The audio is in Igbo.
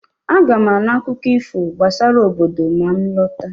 Aga m anụ akụkọ ifo gbasara obodo ma m lọta